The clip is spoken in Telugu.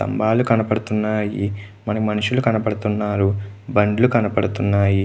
స్తంబాలు కనబడుతున్నాయి.మనుషలు కనబడుతున్నారు. బండీలు కనబడుతున్నాయి--